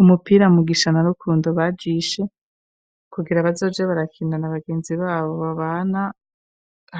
Umupira, Mugisha na Rukundo bajishe, kugira bazoze barakina na bagenzi babo, babana